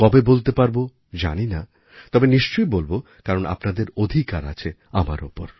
কবে বলতে পারবো জানি না তবে নিশ্চয়ই বলব কারণ আপনাদের অধিকার আছে আমার ওপর